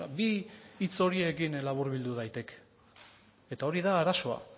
bi hitz horiekin laburbildu daiteke eta hori da arazoa